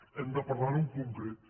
hem de parlar ho en concret